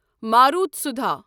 ماروتسودھا